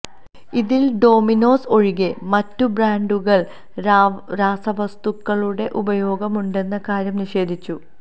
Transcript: ഇതില് ഡോമിനോസ് ഒഴികെ മറ്റു ബ്രാന്ഡുകള് രാസവസ്തുക്കളുടെ ഉപയോഗമുണ്ടെന്ന കാര്യം നിഷേധിച്ചു